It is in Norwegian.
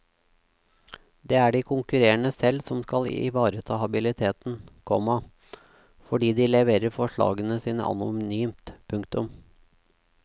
Det er de konkurrerende selv som skal ivareta habiliteten, komma fordi de leverer forslagene sine anonymt. punktum